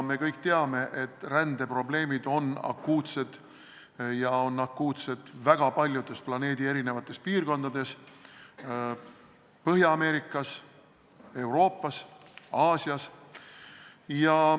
Me kõik teame, et rändeprobleemid on akuutsed, ja on akuutsed väga paljudes planeedi piirkondades: Põhja-Ameerikas, Euroopas, Aasias.